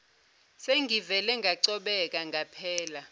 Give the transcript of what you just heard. sengivele ngacobeka ngaphela